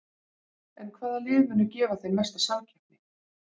En hvaða lið munu gefa þeim mesta samkeppni?